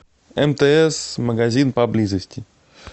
мтс магазин поблизости